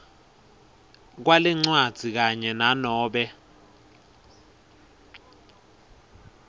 kwalencwadzi kanye nanobe